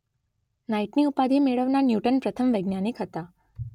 નાઇટની ઉપાધી મેળવનાર ન્યૂટન પ્રથમ વૈજ્ઞાનિક હતા.